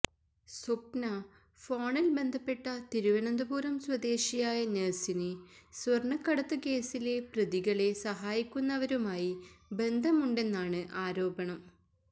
സ്വപ്ന ഫോണില് ബന്ധപ്പെട്ട തിരുവനന്തപുരം സ്വദേശിയായ നഴ്സിനു സ്വര്ണക്കടത്ത് കേസിലെ പ്രതികളെ സഹായിക്കുന്നവരുമായി ബന്ധമുണ്ടെന്നാണ് ആരോപണം